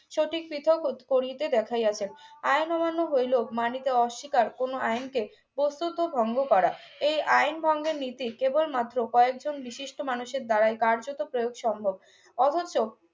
সঠিক পৃথক ও করিতে দেখাইয়াছে আইন অমান্য হইল মানিতে অস্বীকার কোন আইনকে প্রস্তুত ও ভঙ্গ করা এই আইন ভঙ্গের নীতি কেবল মাত্র কয়েকজন বিশিষ্ট মানুষের দ্বারাই কার্যত প্রয়োগ সম্ভব অবশ্য